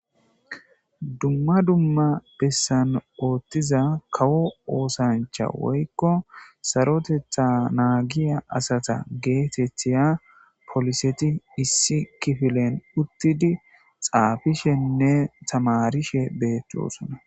dumma dumma bessan oothtiza kawo oosancha woykko sarotetha naagiya asata geetethiya poliseti issi kifilen uttidi xaafishenne tamarishe beettoosona